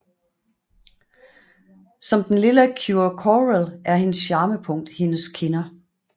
Som den lilla Cure Coral er hendes charmepunkt hendes kinder